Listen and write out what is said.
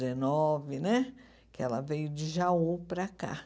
Dezenove, né, que ela veio de Jaú para cá.